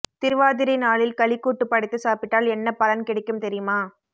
திருவாதிரை நாளில் களி கூட்டு படைத்து சாப்பிட்டால் என்ன பலன் கிடைக்கும் தெரியுமா